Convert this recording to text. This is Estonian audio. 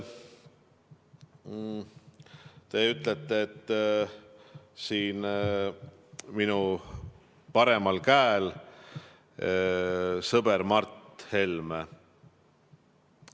Te ütlesite, et siin minu paremal käel on sõber Mart Helme.